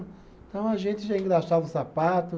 Então a gente já engraxava o sapato.